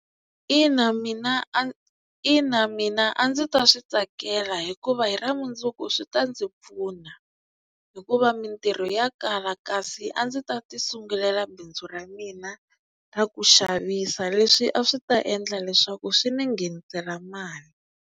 Ina mina a ina mina a ndzi ta swi tsakela hikuva hi ra mundzuku swi ta ndzi pfuna hikuva mintirho ya kala kasi a ndzi ta ti sungulela bindzu ra mina ra ku xavisa leswi a swi ta endla leswaku swi ni nghenisela mali.